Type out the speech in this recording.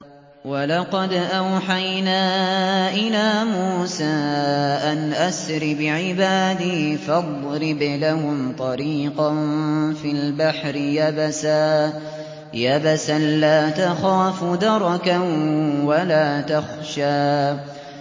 وَلَقَدْ أَوْحَيْنَا إِلَىٰ مُوسَىٰ أَنْ أَسْرِ بِعِبَادِي فَاضْرِبْ لَهُمْ طَرِيقًا فِي الْبَحْرِ يَبَسًا لَّا تَخَافُ دَرَكًا وَلَا تَخْشَىٰ